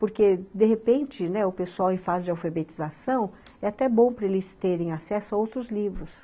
Porque, de repente, né, o pessoal em fase de alfabetização, é até bom para eles terem acesso a outros livros.